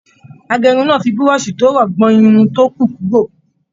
Agérun náà fí burọ̀sì to rọ gbọn irun to kù kúrò.